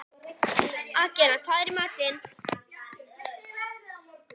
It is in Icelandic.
Agnea, hvað er í matinn?